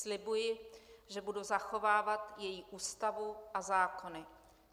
Slibuji, že budu zachovávat její Ústavu a zákony.